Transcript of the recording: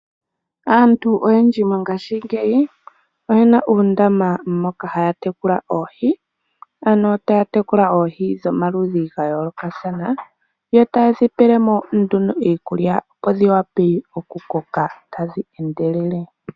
Aantu oyendji mongashingeyi oyena uundama moka haya tekula oohi, ano taya tekulwa oohi dhomaludhi gayoolokathana yo tayedhi pelemo nduno iikulya opo dhiwape okukoka tadhi endelele.